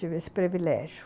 Tive esse privilégio.